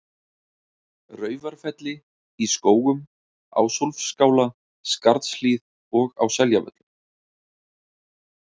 Raufarfelli, í Skógum, Ásólfsskála, Skarðshlíð og á Seljavöllum.